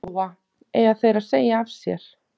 Lóa: Eiga þeir að segja af sér?